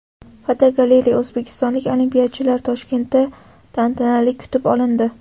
Fotogalereya: O‘zbekistonlik olimpiyachilar Toshkentda tantanali kutib olindi.